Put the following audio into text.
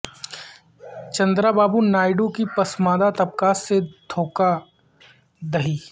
چندرا بابو نائیڈو کی پسماندہ طبقات سے دھوکہ دہی